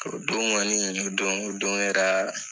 O don kɔni, o don o don kɛra